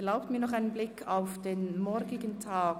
Erlauben Sie mir nun noch einen Blick auf den morgigen Tag: